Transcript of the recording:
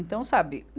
Então, sabe?